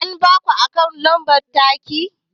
An baki akawu lambar taki?